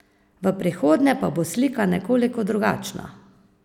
V prihodnje pa bo slika nekoliko drugačna.